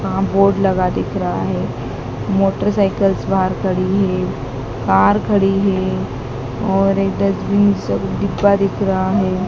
यहां बोर्ड लगा दिख रहा है। मोटरसाइकिल्स बाहर खड़ी है। कार खड़ी है और एक डस्टबिन सा डिब्बा दिख रहा है।